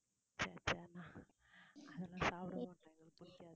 ச்சே ச்சே நான் அதெல்லாம் சாப்பிடமாட்டேன் எனக்கு பிடிக்காது